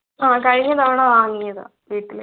ആഹ് കഴിഞ്ഞ തവണ വാങ്ങിയാ വീട്ടിലെ